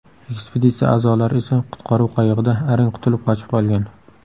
Ekspeditsiya a’zolari esa qutqaruv qayig‘ida arang qutulib qochib qolgan.